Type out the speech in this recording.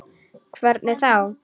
Hvernig þá?